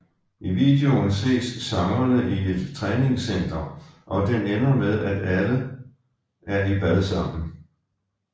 I videoen ses sangerne i et træningscenter og den ender med at de alle er i bad sammen